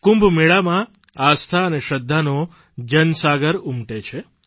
કુંભ મેળામાં આસ્થા અને શ્રદ્ધાનો જનસાગર ઉમટે છે